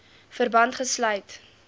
verband gesluit